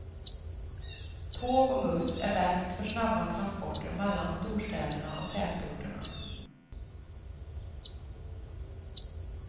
Tåg och buss är bäst för snabba transporter mellan storstäderna och i tätorterna.